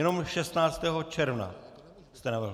Jenom 16. června jste navrhl.